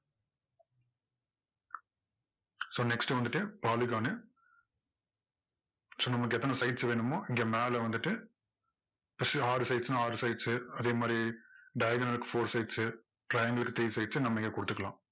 so next வந்துட்டு polygon so நமக்கு எத்தனை sides வேணுமோ இங்க மேல வந்துட்டு ஆறு sides னா ஆறு sides சு அதே மாதிரி diagonal க்கு four sides triangle three sides சு நம்ம இங்க கொடுத்துக்கலாம்.